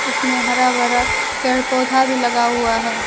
उसमें हरा भरा पेड़ पौधा भी लगा हुआ है।